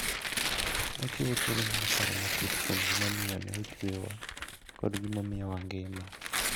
Ochiwo thuolo mar paro matut kuom gimomiyo ne ochwewa koda gimomiyo wangima.